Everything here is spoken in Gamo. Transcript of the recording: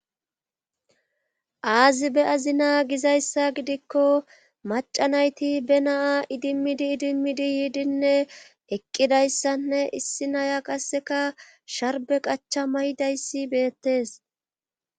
Aazi be7azina gizayssa gidikko macca nayti be na7a idimmidi idimmidi yiidinne eqqidayssanne issi naya qasseka sharbbe qacha maydayssi beettes.